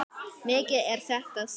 Mikið er þetta sárt.